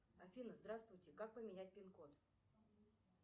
афина здравствуйте как поменять пин код